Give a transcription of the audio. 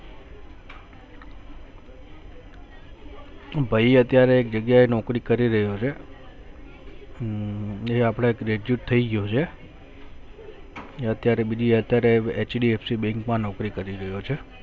ભાઈ અત્યારે એક જગીયા એ નૌકરી કરી રહ્યો છે હમ એ આપડે graduate થઈ ગયો છે એ અત્યારે બીજી અત્યારે HDFC Bank માં નૌકરી કરી રહ્યો છે